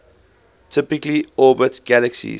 typically orbit galaxies